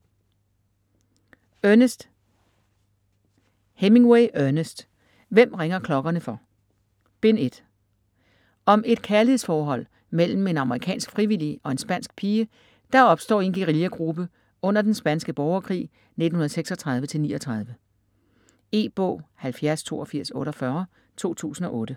Hemingway, Ernest: Hvem ringer klokkerne for?: Bind 1 Om et kærlighedsforhold mellem en amerikansk frivillig og en spansk pige, der opstår i en guerillagruppe under den spanske borgerkrig 1936-39. E-bog 708248 2008.